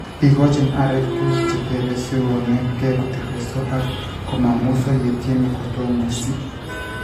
igochin areek tuguuk che tebe sikoneetege kotirirenso ak komamweiso yetieme kotomo si